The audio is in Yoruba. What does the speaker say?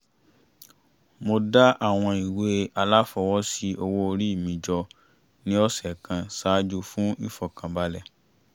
mo dá àwọn ìwé aláfọwọ́sí owó orí mi jọ ní ọ̀sẹ̀ kan ṣáájú fún ìfọ̀kànbalẹ̀